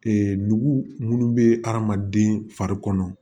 nugu munnu bɛ adamaden fari kɔnɔ